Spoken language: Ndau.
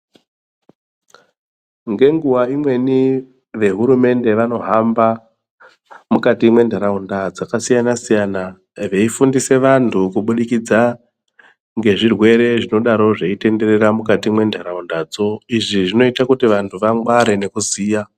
Ngenguwa imweni vehurumende vanohamba mukati mwendaraunda dzakasiyana-siyana, veyifundise vantu kubudikidza ngezvirwere zvinodaro zveyitenderera mukati mwentarauntadzo izvi zvinoyite kuti vantu vangware nokuziya.